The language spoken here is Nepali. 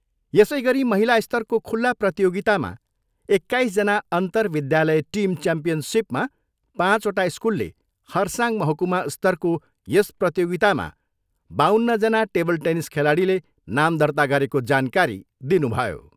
यसैगरी महिला स्तरको खुल्ला प्रतियोगितामा एक्काइसजना अन्तर विध्यालय टिम च्याम्यियनसिपमा पाँचवटा स्कुलले खरसाङ महकुमा स्तरको यस प्रतियोगितामा बाउन्नजना टेबल टेनिस खेलाडीले नाम दर्ता गरेको जानकारी दिनुभयो।